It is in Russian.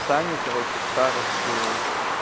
саню короче старосту